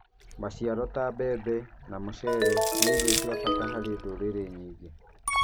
Maciaro ta mbebe na mũcere nĩ irio cia bata harĩ ndũrĩrĩ nyingĩ.